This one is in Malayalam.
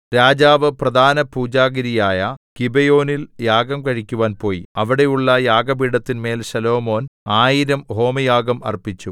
രാജാവ് പ്രധാനപൂജാഗിരിയായ ഗിബെയോനിൽ യാഗം കഴിക്കുവാൻ പോയി അവിടെയുള്ള യാഗപീഠത്തിന്മേൽ ശലോമോൻ ആയിരം ഹോമയാഗം അർപ്പിച്ചു